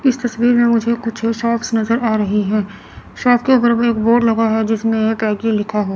इस तस्वीर में मुझे कुछ शॉप्स नजर आ रही है शॉप के ऊपर में एक बोर्ड लगा है जिसमें लिखा--